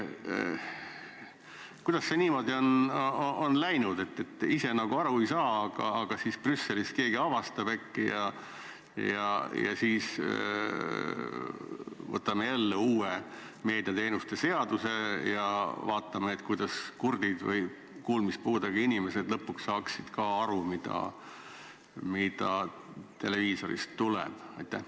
Kuidas see niimoodi on läinud, et ise nagu aru ei saa, aga siis Brüsselis keegi avastab äkki ja siis me võtame vastu uue meediateenuste seaduse ja vaatame, kuidas kurdid või kuulmispuudega inimesed lõpuks saaksid ka aru, mis televiisorist tuleb?